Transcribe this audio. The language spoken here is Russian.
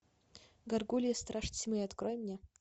гаргулья страж тьмы открой мне